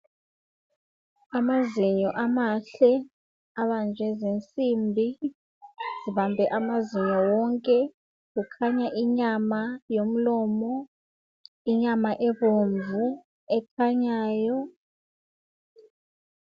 Amazinyo amahle abanjwe zinsimbi zibambe amazinyo wonke, kukhanya inyama yomlomo. Inyama ebomvu ekhanyayo.